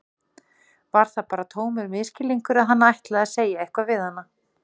Var það bara tómur misskilningur að hann ætlaði að segja eitthvað við hana?